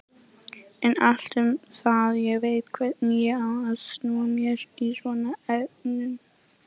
En allt um það, ég veit hvernig ég á að snúa mér í svona efnum.